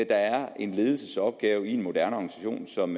er en ledelsesopgave i en moderne organisation som